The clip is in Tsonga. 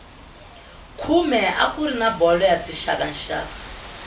khume a kuri na bolo ya tixakaxaka